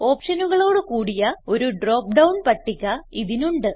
ഓപ്ഷനുകളോട് കൂടിയ ഒരു drop down പട്ടിക ഇതിനുണ്ട്